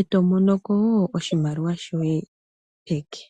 etomono ko wo oshimaliwa shoye peke.